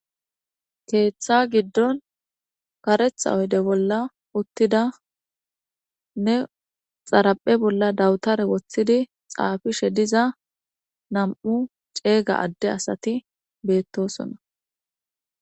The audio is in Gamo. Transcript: keeththa giddon karetha oyde bolla uttida ne xaraphe bolla dawutare woththidi xaafishe diza nam7u ceeyga adde asati beettosona